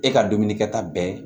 E ka dumuni kɛta bɛɛ